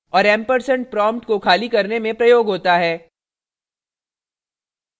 और & ampersand prompt को खाली करने में प्रयोग होता है